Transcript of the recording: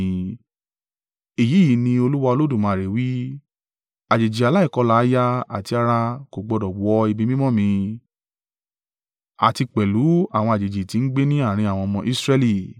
Èyí yìí ní Olúwa Olódùmarè wí: Àjèjì aláìkọlà àyà àti ara kò gbọdọ̀ wọ ibi mímọ́ mi, àti pẹ̀lú àwọn àjèjì tí ń gbé ní àárín àwọn ọmọ Israẹli.